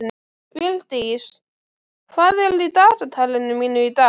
Vildís, hvað er í dagatalinu mínu í dag?